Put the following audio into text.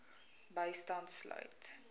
bystand sluit